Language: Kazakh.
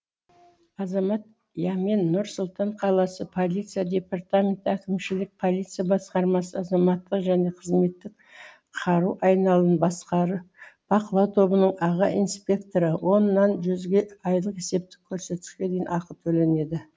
азамат ямен нұр сұлтан қаласы полиция департаменті әкімшілік полиция басқармасы азаматтық және қызметтік қару айналымын бақылау тобының аға инспекторы оннан жүзге айлық есептік көрсеткішке дейін ақы төленеді